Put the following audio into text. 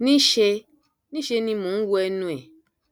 níṣẹ níṣẹ ni mò ń wo ẹnu ẹ